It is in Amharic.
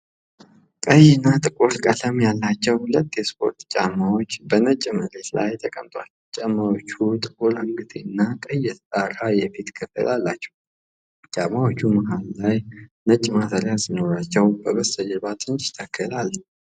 ቀይና ጥቁር ቀለም ያላቸው ሁለት የስፖርት ጫማዎች በነጭ መሬት ላይ ተቀምጠዋል። ጫማዎቹ ጥቁር አንገትጌና ቀይ የተጣራ የፊት ክፍል አላቸው። ጫማዎቹ መሃል ነጭ ማሰሪያ ሲኖራቸው፣ በስተጀርባ ትንሽ ተክል አለ።